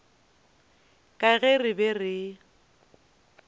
ka ge re be re